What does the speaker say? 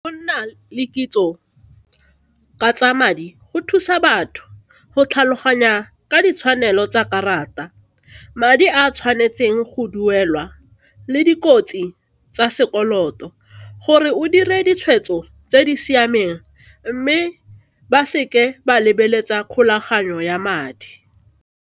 Go nna le kitso ka tsa madi go thusa batho go tlhaloganya ka ditshwanelo tsa karata, madi a tshwanetseng go duelwa le dikotsi tsa sekoloto gore o dire ditshwetso tse di siameng mme ba seke ba lebeletsa kgolaganyo ya madi.